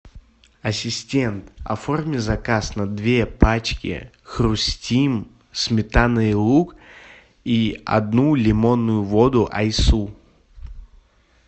ассистент оформи заказ на две пачки хрустим сметана и лук и одну лимонную воду айсу